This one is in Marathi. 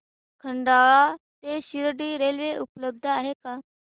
खंडाळा ते शिर्डी रेल्वे उपलब्ध आहे का